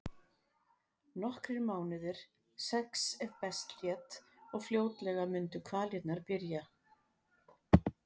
Nokkrir mánuðir, sex ef best lét, og fljótlega mundu kvalirnar byrja.